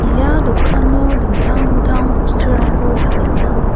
ia dokano dingtang dingtang bosturangko palenga.